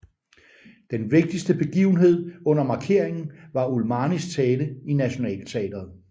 Den vigtigste begivenhed under markeringen var Ulmanis tale i Nationalteatret